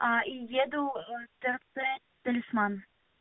и еду трц талисман